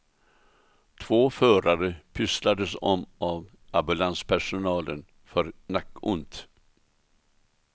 Två förare pysslades om av ambulanspersonalen för nackont.